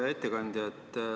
Hea ettekandja!